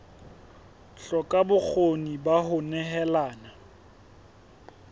hloka bokgoni ba ho nehelana